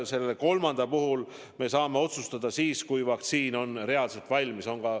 Selle kolmanda puhul me saame otsustada siis, kui vaktsiin on reaalselt valmis.